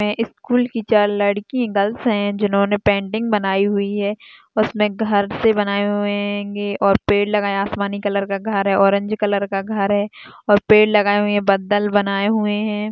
School की चार लड़की गर्ल्स है जिन्होंने पेंटिंग बनाई हुई है उसमे घर भी बनाये हुए हे और पेड़ लगाया आसमानी कलर का घर है ऑरेंज कलर का घर है और पेड़ लगाए हुए है बादल बनाये हुए है।